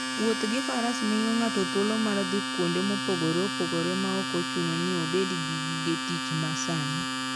Wuotho gi Faras miyo ng'ato thuolo mar dhi kuonde mopogore opogore maok ochuno ni obed gi gige tich masani.